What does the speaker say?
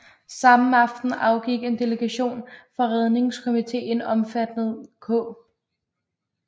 Samme aften afgik en delegation fra Redningskomiteen omfattende K